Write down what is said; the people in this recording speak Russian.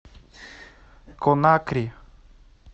конакри